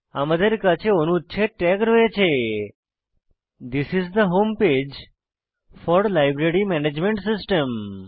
আমাদের কাছে অনুচ্ছেদ ট্যাগ রয়েছে this is the home page for library management system